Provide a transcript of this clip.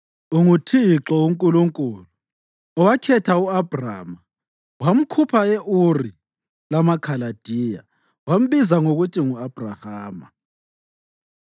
UnguThixo uNkulunkulu, owakhetha u-Abhrama wamkhupha e-Uri lamaKhaladiya wambiza ngokuthi ngu-Abhrahama.